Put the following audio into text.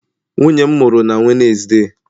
Nwunye m mụrụ na Wednesday.